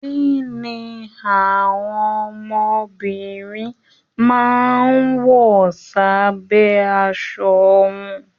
Kínní àwọn ọmọbìnrin máa n wọ s'abẹ aṣọ wọn?